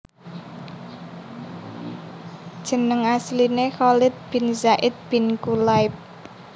Jeneng asliné Khalid bin Zaid bin Kulayb